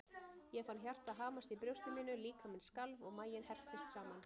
Ég fann hjartað hamast í brjósti mínu, líkaminn skalf og maginn herptist saman.